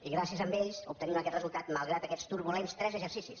i gràcies a ells obtenim aquest resultat malgrat aquests turbulents tres exercicis